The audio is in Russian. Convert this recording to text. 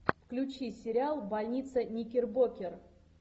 включи сериал больница никербокер